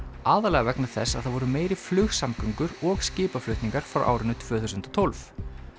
aðallega vegna þess að það voru meiri flugsamgöngur og skipaflutningar frá árinu tvö þúsund og tólf